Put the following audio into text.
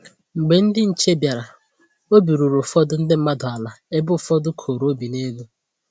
Mgbe ndị nche bịara, obi ruru ụfọdụ ndị mmadụ ala ebe ụfọdụ koro obi n'elu